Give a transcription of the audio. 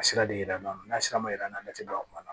A sira de yira an na n'a sira ma yɛrɛ an tɛ baara kuma la